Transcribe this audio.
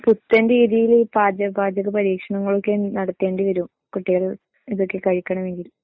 പുത്തൻ രീതിയില് പാച പാചക പരീക്ഷണങ്ങളൊക്കെ നടത്തേണ്ടി വരും കുട്ടികൾ ഇതൊക്കെ കഴിക്കണമെങ്കിൽ